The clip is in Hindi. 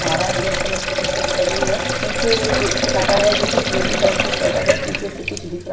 फारा ब्लॅक कलर की टी शर्ट पहनी हुई है पीछे एक शटर है जोकि स्लेटी कलर की शटर है पीछे से कुछ दिख रहा--